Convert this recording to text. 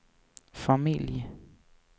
familj